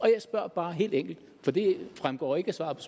jeg spørger bare helt enkelt for det fremgår ikke af svaret